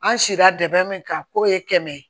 An si la dɛ min ka ko ye kɛmɛ ye